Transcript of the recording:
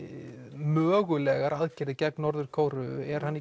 mögulegar aðgerðir gegn Norður Kóreu er hann